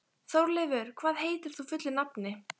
Þórleifur, hvað heitir þú fullu nafni?